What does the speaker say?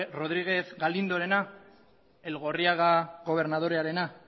rodríguez galindorena elgorriaga gobernadorearena